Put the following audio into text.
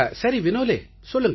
சரி வினோலே சொல்லுங்கள்